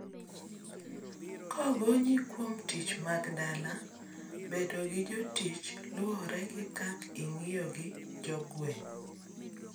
kogonyi kwom tich mag dala, bedo gi jotich' luore gi kak ingiyo gi jogueng